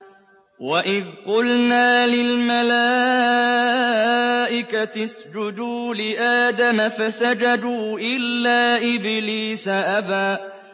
وَإِذْ قُلْنَا لِلْمَلَائِكَةِ اسْجُدُوا لِآدَمَ فَسَجَدُوا إِلَّا إِبْلِيسَ أَبَىٰ